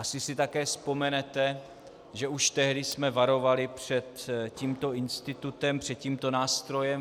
Asi si také vzpomenete, že už tehdy jsme varovali před tímto institutem, před tímto nástrojem.